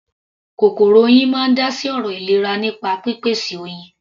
Kòkòrò Oyin máa ń dá sí ọ̀rọ̀ ìlera nípa pípèsè Oyin.